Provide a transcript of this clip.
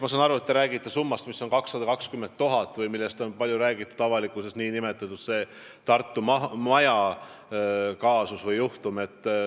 Ma saan aru, et te räägite 220 000 eurost, millest on avalikkuses palju räägitud – see on nn Tartu maja kaasus.